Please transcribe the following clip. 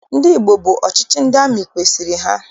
Ndị Igbo bụ ọchịchị ndị amị kwesiri ha.